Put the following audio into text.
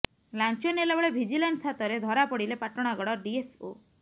ଲାଞ୍ଚ ନେଲା ବେଳେ ଭିଜିଲାନ୍ସ ହାତରେ ଧରା ପଡ଼ିଲେ ପାଟଣାଗଡ ଡିଏଫ୍ଓ